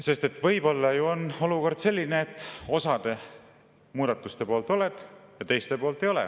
… sest et võib-olla on olukord selline, et osa muudatuste poolt oled ja teiste poolt ei ole.